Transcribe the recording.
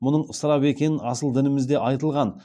мұның ысырап екені асыл дінімізде айтылған